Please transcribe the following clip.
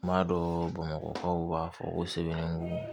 N b'a dɔn bamakɔ b'a fɔ ko sɛbɛnnun